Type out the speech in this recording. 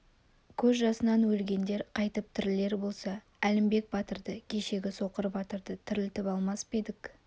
көз жасынан өлгендер қайтып тірілер болса әлімбек батырды кешегі соқыр батырды тірілтіп алмас па едік